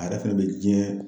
A yɛrɛ fɛnɛ bɛ diɲɛ